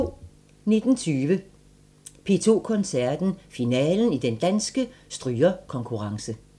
19:20: P2 Koncerten – Finalen i Den Danske Strygerkonkurrence